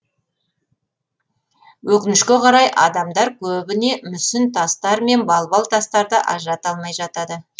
өкінішке қарай адамдар көбіне мүсін тастар мен балбал тастарды ажырата алмай жатады